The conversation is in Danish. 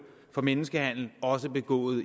for menneskehandel begået